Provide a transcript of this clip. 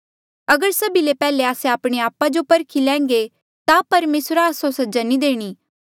अगर सभी ले पैहले आस्से आपणे आपा जो परखी लैंघे ता परमेसरा आस्सो सजा नी देणी